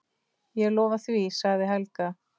Ég lofa því, sagði Helga.